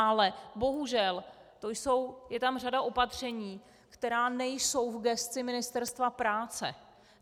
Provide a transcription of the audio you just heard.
Ale bohužel, je tam řada opatření, která nejsou v gesci Ministerstva práce.